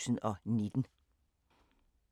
(c) Nota, København 2019